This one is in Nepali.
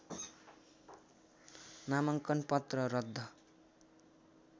नामाङ्कन पत्र रद्द